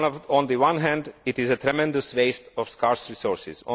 On the one hand, it is a tremendous waste of scarce resources